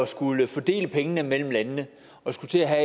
skulle fordele pengene mellem landene og skulle til at have